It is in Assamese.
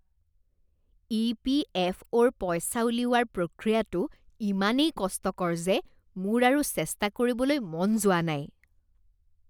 ই.পি.এফ.অ'ৰ পইচা উলিওৱাৰ প্ৰক্ৰিয়াটো ইমানেই কষ্টকৰ যে মোৰ আৰু চেষ্টা কৰিবলৈ মন যোৱা নাই।